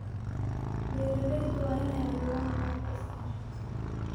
Beeralayda waa in ay abuuraan kooxo iskaashato.